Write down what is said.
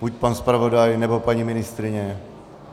Buď pan zpravodaj, nebo paní ministryně.